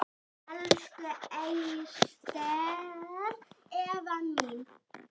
Elsku Ester Eva mín.